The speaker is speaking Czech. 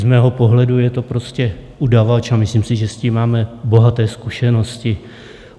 Z mého pohledu je to prostě udavač a myslím si, že s tím máme bohaté zkušenosti.